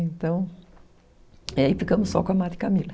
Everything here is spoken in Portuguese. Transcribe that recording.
Então, aí ficamos só com a Madre Camila.